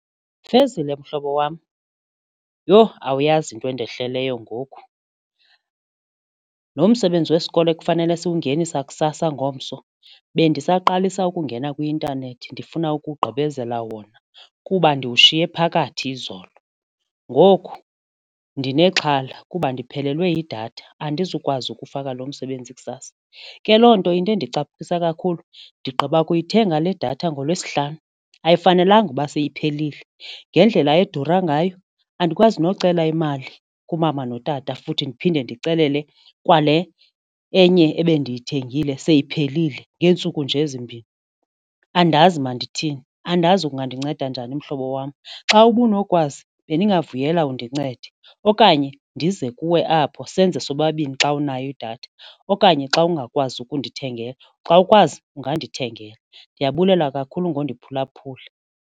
Fezile mhlobo wam, yho! Awuyazi into endehleleyo ngoku lo msebenzi wesikolo ekufanele siwungenisa sakusasa ngomso bendisaqalisa ukungena kwi-intanethi ndifuna ukugqibezela wona kuba ndiwushiye phakathi izolo ngoku ndinexhala kuba ndiphelelwe yidatha andizukwazi ukufaka loo msebenzi kusasa, ke loo nto into endicaphukisa kakhulu ndigqiba ukuyithenga le datha ngolwesihlanu ayifanelanga ukuba seyiphelile. Ngendlela edura ngayo andikwazi nokucela imali kumama notata futhi ndiphinde ndicelele kwale enye ebendiyithengile seyiphelile ngeentsuku nje zimbini. Andazi mandithini andazi ungandinceda njani mhlobo wam, xa ubunokwazi bendingavuyela undincede okanye ndize kuwe apho senze sobabini xa unayo idatha okanye xa ungakwazi kundithengela, xa ukwazi ungandithengela. Ndiyabulela kakhulu ngondiphulaphula.